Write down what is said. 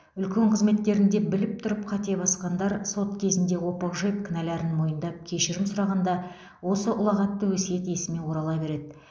үлкен қызметтерінде біліп тұрып қате басқандар сот кезінде опық жеп кінәлерін мойындап кешірім сұрағанда осы ұлағатты өсиет есіме орала береді